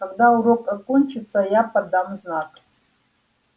когда урок окончится я подам знак